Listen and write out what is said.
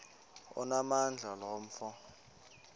onamandla lo mfo